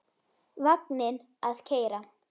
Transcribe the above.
Vagninn að keyra.